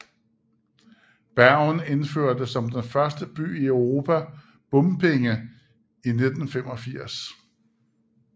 Bergen indførte som den første by i Europa bompenge i 1985